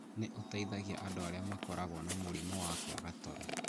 nĩ ũteithagia andũ arĩa makoragwo na mũrimũ wa kwaga toro.